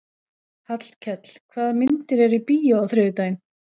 Hallkell, hvaða myndir eru í bíó á þriðjudaginn?